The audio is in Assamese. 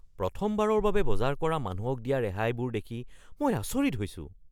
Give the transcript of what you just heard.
প্ৰথমবাৰৰ বাবে বজাৰ কৰা মানুহক দিয়া ৰেহাইবোৰ দেখি মই আচৰিত হৈছোঁ।